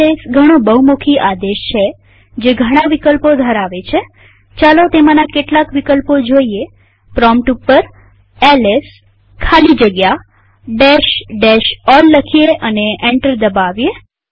LS ઘણો બહુમુખી આદેશ છે જે ઘણા વિકલ્પો ધરાવે છેચાલો તેમાંના કેટલાક વિકલ્પો જોઈએપ્રોમ્પ્ટ ઉપર એલએસ ખાલી જગ્યા all લખીએ અને એન્ટર દબાવીએ